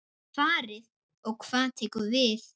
Farið og hvað tekur við?